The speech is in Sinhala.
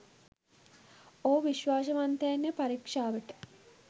ඔහු විස්වාශවන්තයින් පරික්ෂාවට